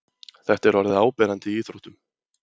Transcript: þetta er orðið áberandi í íþróttum